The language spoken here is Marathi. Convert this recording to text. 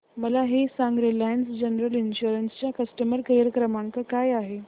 मला हे सांग रिलायन्स जनरल इन्शुरंस चा कस्टमर केअर क्रमांक काय आहे